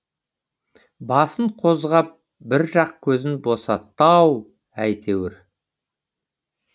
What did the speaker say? басын қозғап бір жақ көзін бостатты ау әйтеуір